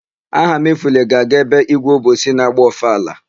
Ahamefule ga-aga ebe ígwé Obosi na-agba ọfala.